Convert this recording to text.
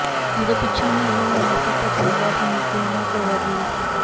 ਜਦੋਂ ਪਿੱਛੋਂ ਵੀ ਇਹੋ ਹੋਣਾ ਸੀ ਤਾਂ ਥਾਣੇਦਾਰ ਹੁਣੇ ਕਿਉਂ ਨਾ ਕਰਵਾ ਦੇਵੇ